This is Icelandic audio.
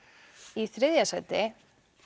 í þriðja sæti